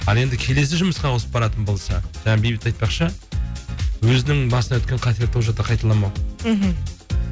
ал енді келесі жұмысқа ауысып баратын болса жаңа бейбіт айтпақшы өзінің басынан өткен қателікті ол жақта қайталамау мхм